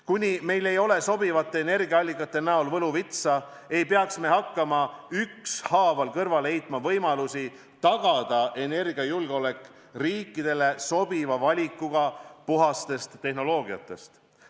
Kuni meil ei ole sobivate energiaallikate kujul võluvitsa, ei peaks me hakkama ükshaaval kõrvale heitma võimalusi tagada energiajulgeolek riikidele sobiva valikuga puhastest tehnoloogiatest.